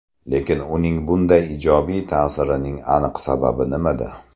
Lekin uning bunday ijobiy ta’sirining aniq sababi nimada?